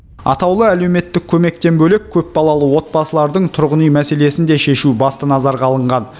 атаулы әлеуметтік көмектен бөлек көпбалалы отбасылардың тұрғын үй мәселесін де шешу басты назарға алынған